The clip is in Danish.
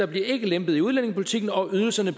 bliver lempet i udlændingepolitikken og at ydelserne